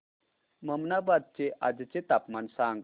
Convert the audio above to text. ममनाबाद चे आजचे तापमान सांग